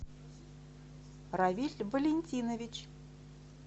равиль валентинович